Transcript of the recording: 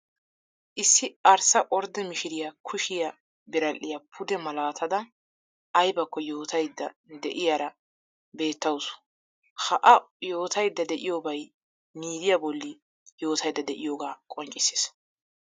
Issi arssa ordde mishiriya kushiya biradhdhiya pude malaatada aybakko yootaydda de'iyara beettawuus. Ha A yootaydda de'iyobay miidiya bolli yootaydda de'iyogaa qonccissees.